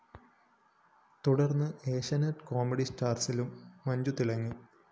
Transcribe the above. തുടര്‍ന്ന് ഏഷ്യാനെറ്റ് കോമഡി സ്റ്റാഴ്‌സിലും മഞ്ജു തിളങ്ങി